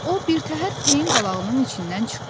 O birtəhər peyin qalağının içindən çıxdı.